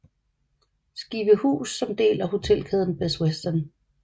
Skivehus som del af hotelkæden Best Western